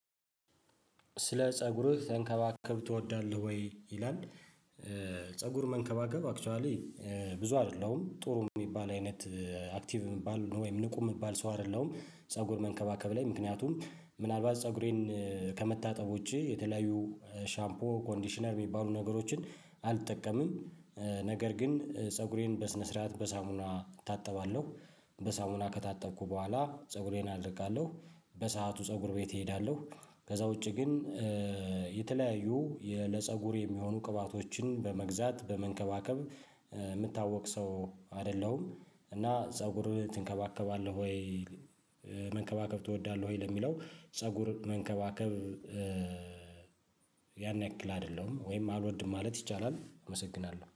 ስለ ፀጉርህ መንከባከብ ትወዳለህ ወይ? ይላል ፀጉር መንከባከብ አክቹዋሊ ብዙ አይደለውም ጥሩም የሚባል አይነት አክቲቭ የሚባል ወይም ንቁ የሚባል ሰው አይደለም። ፀጉር መንከባከብ ላይ ምክንያቱም ምናልባት ፀጉሬን ከመታጠብ ውጪ የተለያዩ ሻምፖ ኮንዲሽነር የሚባሉ ነገሮችን አልጠቀምም። ነገር ግን ፀጉሬን በስነ ስርዓት በሳሙና እታጠባለሁ። በሳሙና ከታጠብኩ በኋላ ፀጉሬን አደርቃለሁ። በሰአቱ ፀጉር ቤት እሄዳለሁ። ከዛ ውጪ ግን የተለያዩ ለፀጉር የሚሆኑ ቅባቶችን በመግዛት በመንከባከብ የምታወቅ ሰው አይደለሁም። እና ፀጉር ትንከባከባለህ ወይ? መንከባከብ ትወዳለህ ወይ? ለሚለው ፀጉር መንከባከብ ያን ያክል አይደለውም ወይም አልወድም ማለት ይቻላል። አመሰግናለሁ